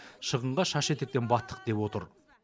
шығынға шаш етектен баттық деп отыр